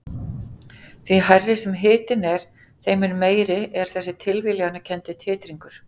Því hærri sem hitinn er þeim mun meiri er þessi tilviljanakenndi titringur.